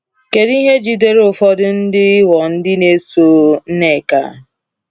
Kedu ihe jidere ụfọdụ ndị ịghọ ndị na-eso Nneka?